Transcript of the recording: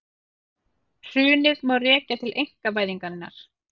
Hrunið má rekja til einkavæðingarinnar